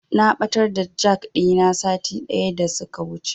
Na ɓatar da jak ɗina sati ɗaya daya wuce a wajen Bakanike.